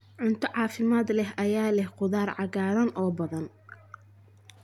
Cunto caafimaad leh ayaa leh khudaar cagaaran oo badan.